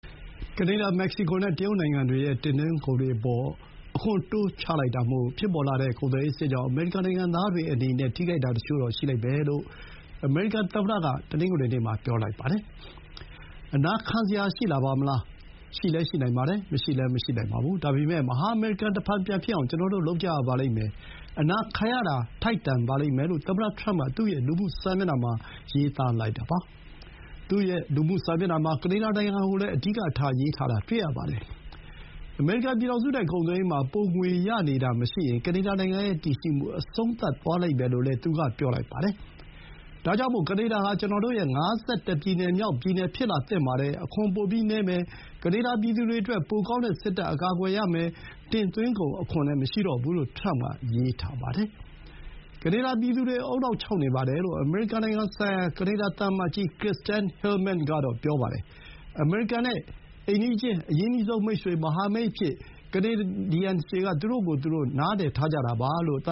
ကနေဒါ၊ မက္ကဆီကိုနဲ့ တရုတ်နိုင်ငံတွေရဲ့ တင်သွင်းကုန်အပေါ် အခွန် တိုးချလိုက်တာမို့ ဖြစ်ပေါ်လာတဲ့ ကုန်သွယ်ရေးစစ်ကြောင့် အမေရိကန် နိုင်ငံသားတွေအနေနဲ့ နစ်နာတာတချို့တော့ ခံစားရလိမ့်မယ်လို့ အမေရိကန်သမ္မတက တနင်္ဂနွေနေ့မှာ ပြောလိုက်ပါတယ်။ "အနာခံစရာ ရှိလာပါမလား။ ရှိလည်း ရှိနိုင်ပါတယ်။ မရှိလည်း မရှိနိုင်ပါဘူး။ ဒါပေမဲ့ မဟာအမေရိကန် တဖန်ပြန်ဖြစ်အောင် ကျွန်တော်တို့ လုပ်ကြရပါလိမ့်မယ်။ အနာခံရတာ ထိုက်တန်ပါလိမ့်မယ်" လို့ သမ္မတထရမ့်က သူ့ရဲ့ လူမှုစာမျက်နှာမှာ ရေးသားလိုက်ပါတယ်။ သူ့ရဲ့ လူမှုစာမျက်နှာမှာ ကနေဒါနိုင်ငံကို အဓိကထား ရေးထားတာကို တွေ့ရပါတယ်။ အမေရိကန်ပြည်ထောင်စုနဲ့ ကုန်သွယ်ရေးမှာ ပိုငွေရနေတာမရှိရင် ကနေဒါနိုင်ငံရဲ့ တည်ရှိမှု အဆုံးသတ်သွားလိမ့်မယ်လို့လည်း သူက ပြောလိုက်ပါတယ်။ "ဒါကြောင့်မို့ ကနေဒါဟာ ကျွန်တော်တို့ရဲ့ ၅၁ ပြည်နယ်မြောက် ပြည်နယ် ဖြစ်လာသင့်ပါတယ်။ အခွန်ပိုပြီးနည်းမယ်။ ကနေဒါ ပြည်သူတွေအတွက် ပိုကောင်းတဲ့ စစ်တပ် အကာအကွယ်ရမယ်။ တင်သွင်းကုန်အခွန်လည်း မရှိတော့ဘူး" လို့ ထရမ့်က ရေးထားပါတယ်။ ကနေဒါပြည်သူတွေ ဦးနှောက်ခြောက်နေပါတယ်လို့ အမေရိကန်နိုင်ငံဆိုင်ရာ ကနေဒါ သံအမတ်ကြီး Kirsten Hillman ကတော့ ပြောပါတယ်။ အမေရိကန်ရဲ့ အိမ်နီးချင်း၊ အရင်းနှီးဆုံးမိတ်ဆွေ၊ မဟာမိတ်အဖြစ် သူတို့က သူတို့ကိုယ်သူတို့ မြင်ကြတာပါလို့ သ